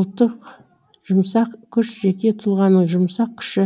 ұлттық жұмсақ күш жеке тұлғаның жұмсақ күші